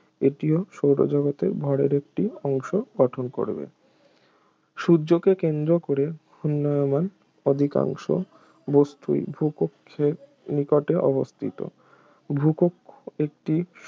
এটিও সৌর জগতের ভরের একটি অংশ গঠন করবে সূর্যকে কেন্দ্র করে ঘূর্ণায়মান অধিকাংশ বস্তুই ভূকক্ষের নিকটে অবস্থিত ভূকক্ষ একটি